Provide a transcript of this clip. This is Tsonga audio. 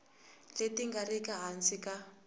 leti nga riki hansi ka